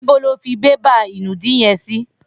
Nibò ló fi bàbá inùdí yèn si?